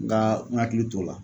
Nka n hakili t'o la